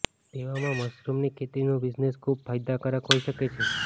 તેવામાં મશરૂમની ખેતીનો બિઝનેસ ખુબ ફાયદાકારક હોઈ શકે છે